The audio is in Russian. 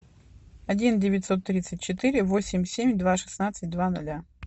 один девятьсот тридцать четыре восемь семь два шестнадцать два нуля